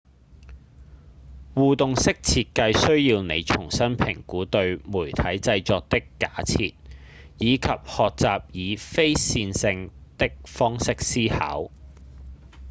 互動式設計需要你重新評估對媒體製作的假設以及學習以非線性的方式思考